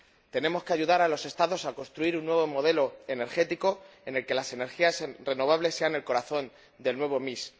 Tenemos que ayudar a los Estados a construir un nuevo modelo energético en el que las energías renovables sean el corazón del nuevo mix